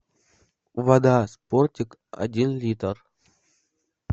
вода спортик один литр